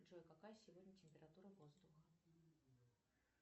джой какая сегодня температура воздуха